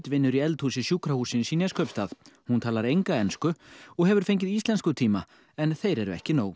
vinnur í eldhúsi sjúkrahússins í Neskaupstað hún talar enga ensku og hefur fengið íslenskutíma en þeir eru ekki nóg